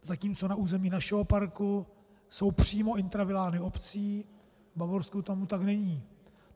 Zatímco na území našeho parku jsou přímo intravilány obcí, v Bavorsku tomu tak není.